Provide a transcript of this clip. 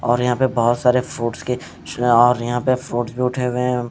और यहां पे बहोत सारे फ्रूट्स के और यहां पे फ्रूट जुट हुवें--